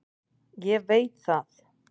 Ég veit það.